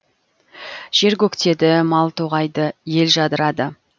жер көктеді мал тоғайды ел жадырады